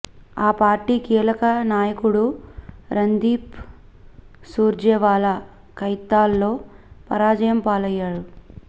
ఆ పార్టీ కీలక నాయకుడు రణ్దీప్ సూర్జేవాల కైతాల్లో పరాజయం పాలయ్యారు